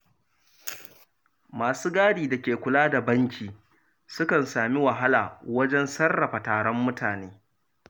Masu gadi da ke kula da banki sukan sami wahala wajen sarrafa taron mutane.